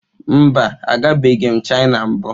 Mba, agabeghị m Chịna mbụ.